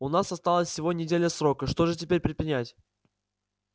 у нас осталась всего неделя срока что же теперь предпринять